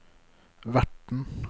verten